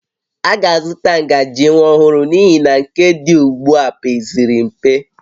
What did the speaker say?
A ga-azụta ngaji nwa ọhụrụ n'ihi na nke dị ugbu a pezịrị mpe